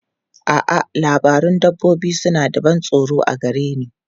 A'a, labarun dabbobi suna da ban tsoro a gare ni.